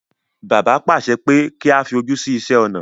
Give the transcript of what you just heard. Bàbá pàṣẹ pé kí a fojú sí iṣé ọnà.